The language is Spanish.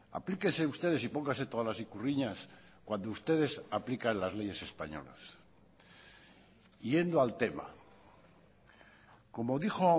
aplíquese ustedes y póngase todas las ikurriñas cuando ustedes aplican las leyes españolas yendo al tema como dijo